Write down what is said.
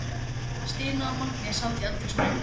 Stína og Mangi sátu í eldhúsinu.